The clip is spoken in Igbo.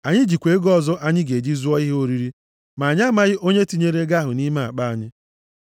Anyị jikwa ego ọzọ anyị ga-eji zụọ ihe oriri. Ma anyị amaghị onye tinyere ego ahụ nʼime akpa anyị.”